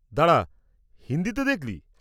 -দাঁড়া, হিন্দিতে দেখলি?